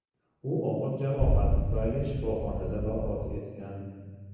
U og‘ir jarohat tufayli shifoxonada vafot etgan.